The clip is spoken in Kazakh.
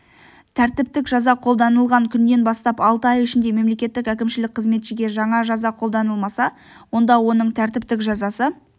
тәртіптік жаза қолданылған күннен бастап алты ай ішінде мемлекеттік әкімшілік қызметшіге жаңа жаза қолданылмаса онда оның тәртіптік жазасы